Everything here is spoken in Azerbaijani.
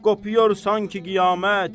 qopur sanki qiyamət.